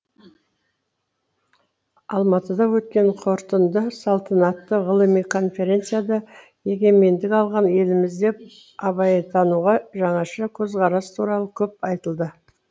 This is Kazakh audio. алматыда өткен қорытынды салтанатты ғылыми конференцияда егемендік алған елімізде абайтануға жаңаша көзқарас туралы көп айтылды